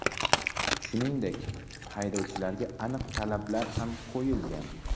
Shuningdek, haydovchilarga aniq talablar ham qo‘yilgan.